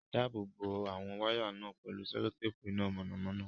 Dáàbò bo àwọn wáyà náà pẹ̀lú sẹ́lótéèpù iná mọ̀nàmọ́ná.